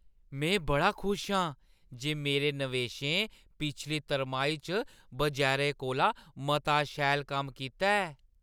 में बड़ा खुश आं जे मेरे नवेशें पिछली तरमाही च बजारै कोला मता शैल कम्म कीता ऐ।